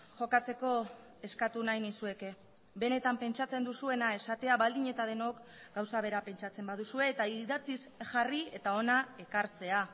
jokatzeko eskatu nahi nizueke benetan pentsatzen duzuena esatea baldin eta denok gauza bera pentsatzen baduzue eta idatziz jarri eta hona ekartzea